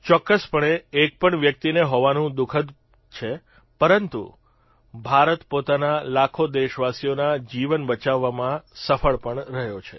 ચોક્કસપણે એકપણ વ્યક્તિને ખોવાનું દુઃખદ છે પરંતુ ભારત પોતાના લાખો દેશવાસીઓના જીવન બચાવવામાં સફળ પણ રહ્યો છે